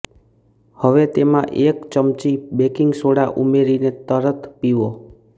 હવે તેમા એક ચમચી બેકિંગ સોડા ઉમેરીને તરત પીઓ